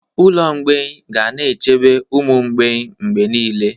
Ụlọ mgbei ga-echebe ụmụ mgbei mgbe niile.